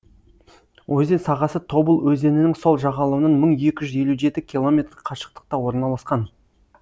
өзен сағасы тобыл өзенінің сол жағалауынан мың екі жүз елу жеті километр қашықтықта орналасқан